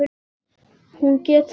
Hún getur ekki flogið.